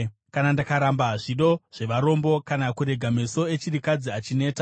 “Kana ndakaramba zvido zvevarombo kana kurega meso echirikadzi achineta,